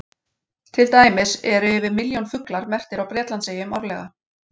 Til dæmis eru yfir milljón fuglar merktir á Bretlandseyjum árlega.